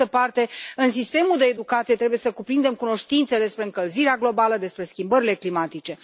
Pe de altă parte, sistemul de educație trebuie să cuprindă cunoștințe despre încălzirea globală, despre schimbările climatice.